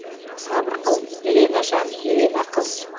сабыр қыл елена жан елена қыз